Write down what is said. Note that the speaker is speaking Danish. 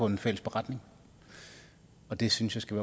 en fælles beretning og det synes jeg skal